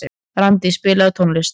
Randí, spilaðu tónlist.